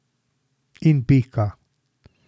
In pika.